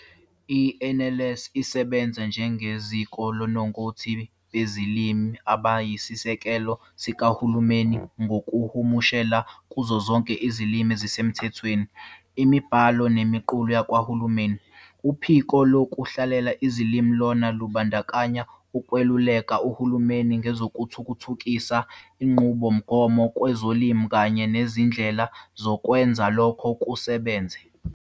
I-NLS isebenza njengeziko lonongoti bezilimi abayisisekelo sikaHulumeni ngokuhumushela kuzo zonke izilimi ezisemthethweni imibhalo nemiqulu yakwaHulumeni. Uphiko lokuhlela izilimi lona lumbandakanya ukwaluleka uhulumeni ngezokuthuthukisa inqubomgomo kwezolimi kanye nezindlela zokwenza lokho kusebenze.